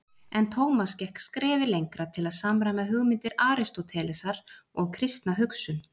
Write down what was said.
En Tómas gekk skrefi lengra til að samræma hugmyndir Aristótelesar og kristna hugsun.